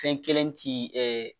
Fɛn kelen ti ɛ